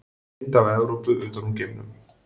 Mynd af Evrópu utan úr geimnum.